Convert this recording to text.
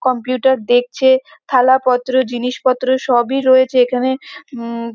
Computer দেখছে। থালাপত্র জিনিসপত্র সবই রয়েছে এখানে উম ম।